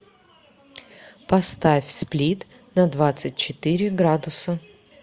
поставь сплит на двадцать четыре градуса